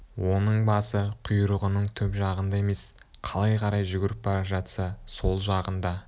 оның басы құйрығының түп жағында емес қалай қарай жүгіріп бара жатса сол жағында